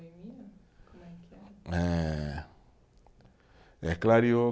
Eh, eh, clareou